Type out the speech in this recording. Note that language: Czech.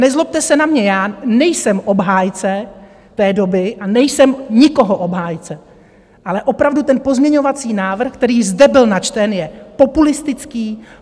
Nezlobte se na mě, já nejsem obhájce té doby a nejsem nikoho obhájce, ale opravdu, ten pozměňovací návrh, který zde byl načten, je populistický.